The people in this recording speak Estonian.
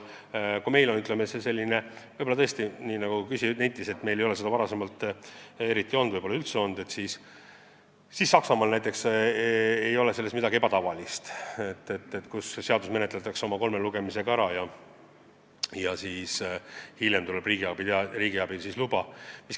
Kui meil on olnud tõesti nii, nagu küsija nentis, et varem pole sellist praktikat olnud, siis Saksamaal ei ole selles midagi ebatavalist, kui seaduseelnõu läbib oma kolm lugemist ja pärast seda tuleb riigiabiluba.